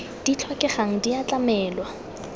di tlhokegang di a tlamelwa